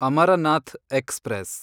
Amarnath express